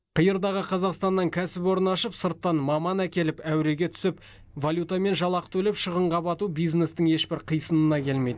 қиырдағы қазақстаннан кәсіпорын ашып сырттан маман әкеліп әуреге түсіп валютамен жалақы төлеп шығынға бату бизнестің ешбір қисынына келмейді